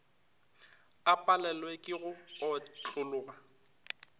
a palelwe ke go otlologa